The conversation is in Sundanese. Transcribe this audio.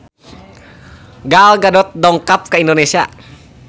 Gal Gadot dongkap ka Indonesia